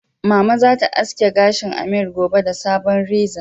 Mama zata aske gashin Ameer gobe da sabon reza